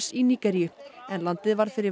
í Nígeríu en landið varð fyrir